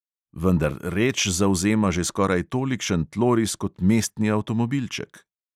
Vendar reč zavzema že skoraj tolikšen tloris kot mestni avtomobilček.